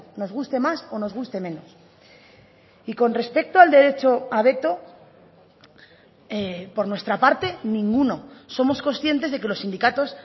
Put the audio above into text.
nos guste más o nos guste menos y con respecto al derecho a veto por nuestra parte ninguno somos conscientes de que los sindicatos